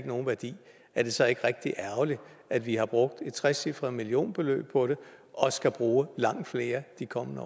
nogen værdi er det så ikke rigtig ærgerligt at vi har brugt et trecifret millionbeløb på det og skal bruge langt mere de kommende